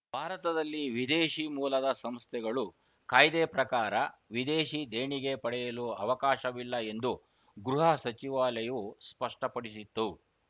ಭಾರತದಲ್ಲಿ ವಿದೇಶಿ ಮೂಲದ ಸಂಸ್ಥೆಗಳು ಕಾಯ್ದೆ ಪ್ರಕಾರ ವಿದೇಶಿ ದೇಣಿಗೆ ಪಡೆಯಲು ಅವಕಾಶವಿಲ್ಲ ಎಂದು ಗೃಹ ಸಚಿವಾಲಯವು ಸ್ಪಷ್ಟಪಡಿಸಿತ್ತು